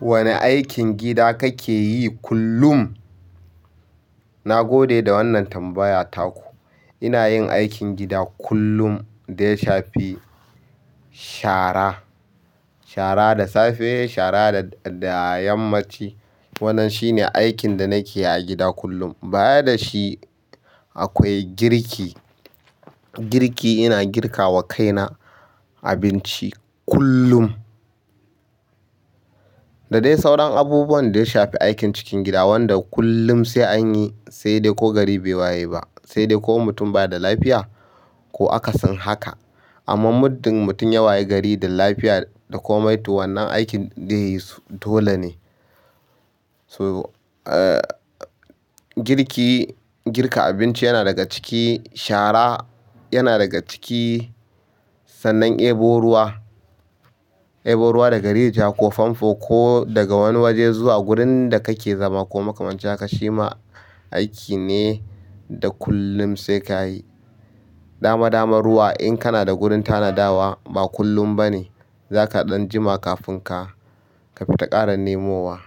Wane aikin gida kake yi kullum? Na gode da wannan tambaya taku. Ina yin aikin gida kullum da ya shafi shara. Shara da safe, shara da, da yammaci. Wannan shine aikin da nake yi a gida kullum. Baya da shi akwai girki. Girki, ina girkawa kaina abinci kullum. Da dai sauran abubuwan da ya shafi aikin cikin gida wanda kullum sai an yi, sai dai ko gari bai waye ba, sai dai ko mutum baya da lafiya ko aka sin haka. Amma muddin mutum ya waye gari da lafiya da komai to, wannan aikin zai yisu dole ne. So, eh, girki, girka abinci yana daga ciki, shara yana daga ciki. Sannan ɗebo ruwa ɗebo ruwa daga rijiya ko pampo ko daga wani waje zuwa gurin da kake zama ko makamancin haka shima aiki ne da kullum sai kayi dama dama ruwa in kanada wurin tana dawa ba kullum bane. Za ka ɗan jima kafin ka fita ƙara nemowa.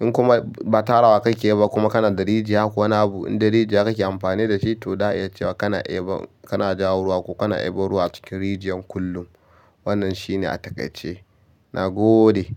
In kuma ba tarawa kake yi ba kuma kana da rijiya ko wani abu, in dai rijiya kake amfani da shi to da iya cewa kana ɗebo, kana jawo ruwa ko kana ɗebo ruwa a cikin rijiyar kullum. Wannan shine a takaice. Na gode.